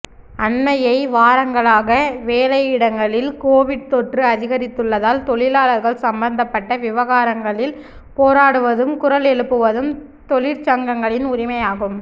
அண்மைய வாரங்களாக வேலையிடங்களில் கோவிட் தொற்று அதிகரித்துள்ளதால் தொழிலாளர்கள் சம்பந்தப்பட்ட விவகாரங்களில் போராடுவதும் குரல் எழுப்புவதும் தொழிற்சங்கங்களின் உரிமையாகும்